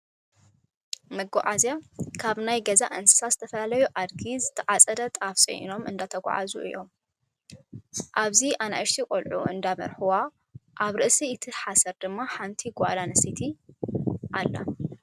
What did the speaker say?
መጉዓዝያ፦ ካብ ናይ ገዛ እነስሳት ዝተፈላለዩ ኣድጊ ዝተዓፀደ ጣፍ ፂዒኖም እንዳጎንቁ እዮም። ኣብዚ ኣይእሽተይ ቆልዑ እንዳመርሕዋ ፤ ኣብ ርእሲ እቲ ሓሰር ድማ ሓንቲ ጓል ኣነስተይቲ ኣላ።